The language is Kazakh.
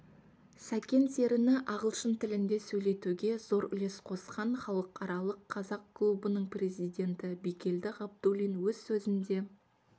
сәкен серіні ағылшын тілінде сөйлетуге зор үлес қосқан халықаралық қазақ клубының президенті бигелді ғабдуллин өз сөзінде